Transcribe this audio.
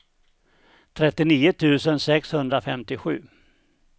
trettionio tusen sexhundrafemtiosju